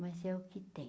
Mas é o que tem.